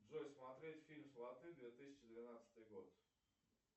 джой смотреть фильм сваты две тысячи двенадцатый год